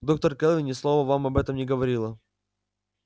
доктор кэлвин ни слова вам об этом не говорила